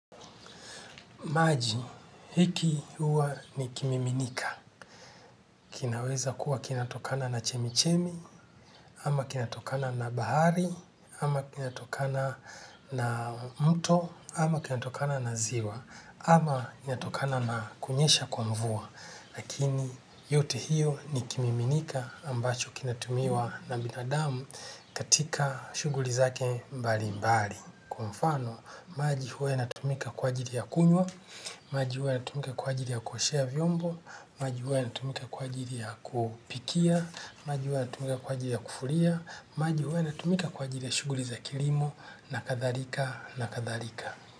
Maji hiki huwa ni kimiminika. Kinaweza kuwa kinatokana na chemichemi, ama kinatokana na bahari, ama kinatokana na mto, ama kinatokana na ziwa, ama kinatokana na kunyesha kwa mvua. Lakini yote hiyo ni kimiminika ambacho kinatumiwa na binadamu katika shuguli zake mbali mbali. Kwa mfano, maji huwa yanatumika kwa ajili ya kunywa, maji huwa yanatumika kwa ajili ya kuoshea vyombo, maji huwa yanatumika kwa ajili ya kupikia, maji huwa yanatumika kwa ajili ya kufulia, maji huwa yanatumika kwa ajili ya shughuli za kilimo na kadhalika na kadhalika.